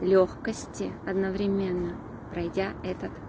лёгкости одновременно пройдя этот